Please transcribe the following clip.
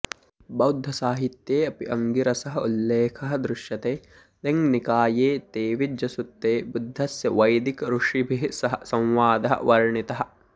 बौद्धसाहित्ये अपि अङ्गिरसः उल्लेखः दृश्यते दिङ्निकाये तेविज्जसुत्ते बुद्धस्य वैदिकऋषिभिः सह संवादः वर्णितः